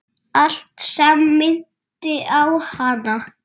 Allt sem minnti á hana.